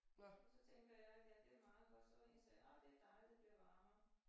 Og så tænker jeg ja det meget godt så når I siger åh det dejligt det bliver varmere